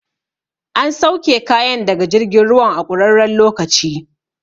An sauke kayan daga jirgin ruwan a ƙurarren lokaci